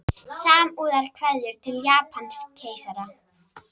Samúðarkveðjur til Japanskeisara